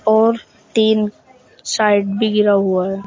और तीन साइड भी घीरा हुआ है।